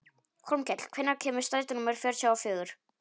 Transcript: Hólmkell, hvenær kemur strætó númer fjörutíu og fjögur?